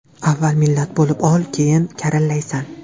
Avval millat bo‘lib ol, keyin karillaysan.